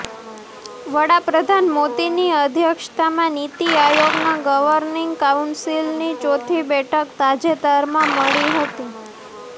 વડાપ્રધાન મોદીની અધ્યક્ષતામાં નીતિ આયોગના ગવર્નીંગ કાઉન્સીલની ચોથી બેઠક તાજેતરમાં મળી હતી